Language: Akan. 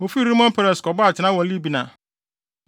Wofii Rimon Peres kɔbɔɔ atenae wɔ Libna.